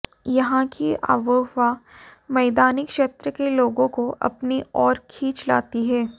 यहां की आबोहवा मैदानी क्षेत्र के लोगों को अपनी और खींच लाती है